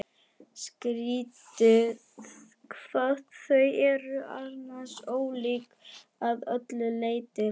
Skrýtið hvað þau eru annars ólík að öllu leyti.